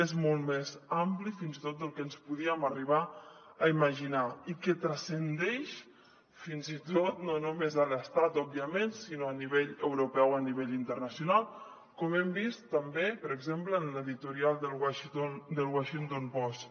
és molt més ampli fins i tot del que ens podíem arribar a imaginar i transcendeix fins i tot no només a l’estat òbviament sinó a nivell europeu a nivell internacional com hem vist també per exemple en l’editorial del the washington post